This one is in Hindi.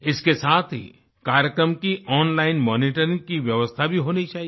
इसके साथ ही कार्यक्रम की ओनलाइन मॉनिटरिंग की व्यवस्था भी होनी चाहिए